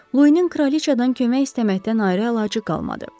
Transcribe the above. Loinin kraliçadan kömək istəməkdən ayrı əlacı qalmadı.